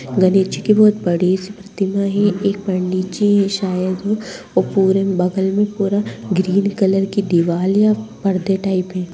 गणेश जी की बहुत बड़ी सी प्रतिमा है एक पंडित जी है शायद वो पूरे बगल में पूरा ग्रीन कलर की दीवाल या पर्दे टाइप है।